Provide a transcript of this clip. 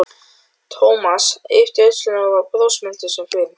Thomas yppti öxlum og var brosmildur sem fyrr.